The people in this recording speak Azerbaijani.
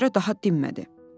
Ona görə daha dinmədi.